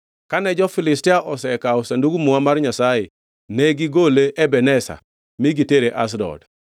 Kane jo-Filistia osekawo Sandug Muma mar Nyasaye ne gigole Ebeneza mi gitere Ashdod.